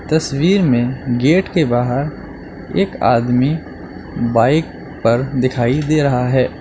तस्वीर में गेट के बाहर एक आदमी बाइक पर दिखाई दे रहा है।